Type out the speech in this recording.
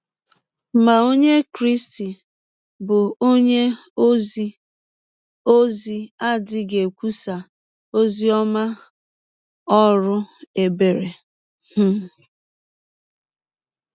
Ma ọnye Krịsti bụ́ ọnye ọzi ọzi adịghị ekwụsa ọzi ọma ọrụ ebere. um